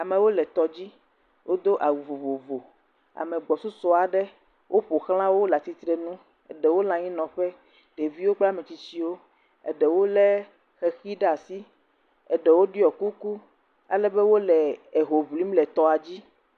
Amewo le tɔdzi. Wodo awu vovovo. Ame gbɔsusu aɖewo ƒo ʋlã wo le atsitrenuu. Eɖewo le anyinɔƒe. Ɖeviwo kple ametsitsiwo. Eɖewo lé xexi ɖe asi. Eɖewo ɖiɔ kuku alebe wole eho ŋlim le tɔa dzi.